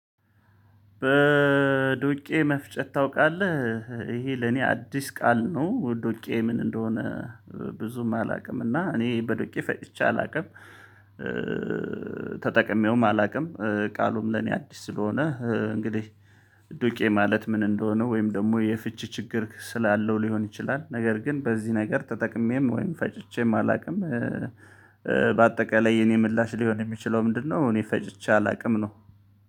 በዱቄ መፍጨት ታውቃለህ? ይሄ ለኔ አዲስ ቃል ነው ዱቄ ምን እንደሆነ ብዙም አላውቅም እና እኔ በዶቄ ፈጭቼ አላውቅም። ተጠቅሜውም አላውቅም ቃሉም ለኔ አዲስ ስለሆነ እንግዲህ ዱቄ ማለት ምን እንደሆነ ወይም ደግሞ የፍቺ ችግር ስላለው ሊሆን ይችላል ነገር ግን በዚህ ነገር ተጠቅሜም ወይም ፈጭቼም አላውቅም በአጠቃላይ የኔ ምላሽ ሊሆን የሚችለው ምንድነው እኔ ፈጭቼ አላውቅም ነው።